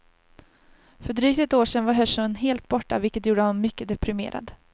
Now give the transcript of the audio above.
För drygt ett år sedan var hörseln helt borta, vilket gjorde honom mycket deprimerad.